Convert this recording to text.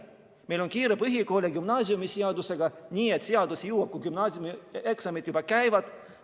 Meil on kiire põhikooli- ja gümnaasiumiseadusega, nii et seadus jõustub siis, kui gümnaasiumieksamid juba käivad.